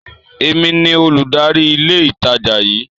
Èmi ní Olùdarí ilé ìtajà yí